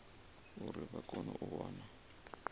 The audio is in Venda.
uri vha kone u wana